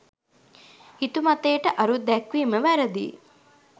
හිතුමතයට අරුත්දැක්වීම වැරැදිය.